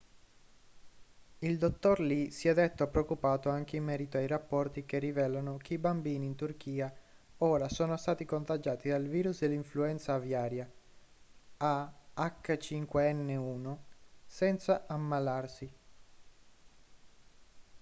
il dottor lee si è detto preoccupato anche in merito ai rapporti che rivelano che i bambini in turchia ora sono stati contagiati dal virus dell'influenza aviaria ah5n1 senza ammalarsi